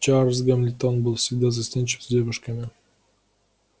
чарлз гамильтон был всегда застенчив с девушками